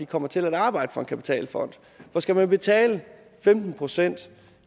kommer til at arbejde for en kapitalfond for skal man betale femten procent